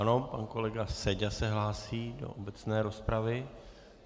Ano, pan kolega Seďa se hlásí do obecné rozpravy.